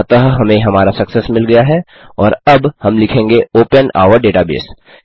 अतः हमें हमारा सक्सेस मिल गया है और अब हम लिखेंगे ओपन और डेटाबेस